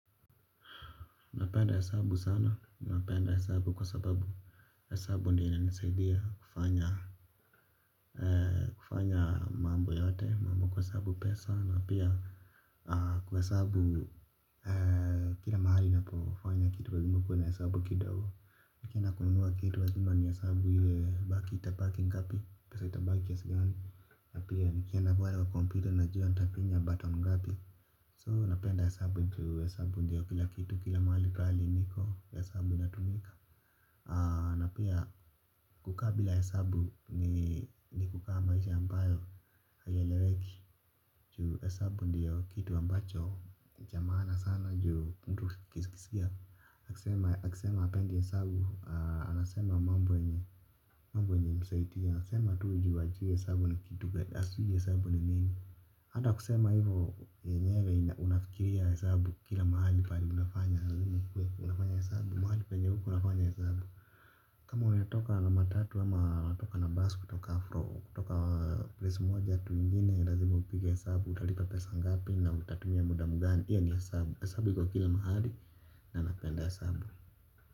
Napenda hesabu sana, napenda hesabu kwa sababu, hesabu ndiyo inisaidia kufanya. Kufanya mambo yote mambo kuhesabu pesa na pia kuhesabu kila mahali napofanya kitu lazima kuwe na hesabu kidogo. Nikienda kunua kitu lazima nihesabu iyo ya baki itabaki ngapi, pesa itabaki kiasi gani. Na pia nikienda pale kwa computer najua ntafinya button ngapi So napenda hesabu juu hesabu ndio kila kitu kila mahali pahali niko hesabu inatumika. Na pia kukaa bila hesabu ni kukaa maisha ambayo haieleweki. Juu hesabu ndio kitu ambacho cha maana sana juu mtu ukisikia akisema hapendi hesabu anasema mambo yenye haimsaidii. Anasema tu juu hajui hesabu ni kitu hajui hesabu ni nini. Hata kusema hivyo yenyewe unafikiria hasabu kila mahali pahali unafanya. Unafanya hasabu mahali penye uko unafanya hesabu. Kama unatoka na matatu ama unatoka na basi kutoka afro kutoka place moja tu ingine lazima upige hesabu utalipa pesa ngapi na utatumia muda mgani hio ni hesabu hesabu iko kila mahali na napenda hesabu.